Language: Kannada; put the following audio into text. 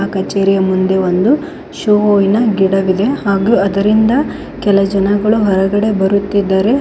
ಕಚೇರಿಯ ಮುಂದೆ ಒಂದು ಶೋವಿನ ಗಿಡವಿದೇ ಹಾಗೂ ಅದರಿಂದ ಕೆಲ ಜನಗಳು ಹೊರಗಡೆ ಬರುತ್ತಿದ್ದಾರೆ.